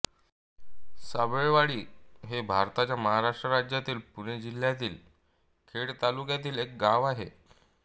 साबळेवाडी हे भारताच्या महाराष्ट्र राज्यातील पुणे जिल्ह्यातील खेड तालुक्यातील एक गाव आहे